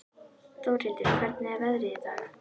Þórhildur, hvernig er veðrið í dag?